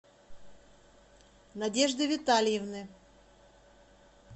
надежды витальевны